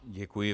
Děkuji.